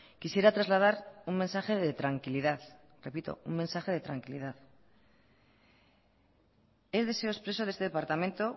quisiera trasladar un mensaje de tranquilidad repito un mensaje de tranquilidad es deseo expreso de este departamento